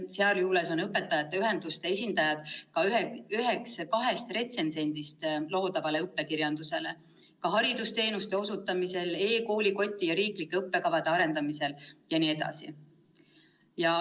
Sealjuures on õpetajate ühenduste esindajad ka retsensendid loodavale õppekirjandusele, samuti osalevad nad haridusteenuste osutamisel ning e-koolikoti ja riiklike õppekavade arendamisel jne.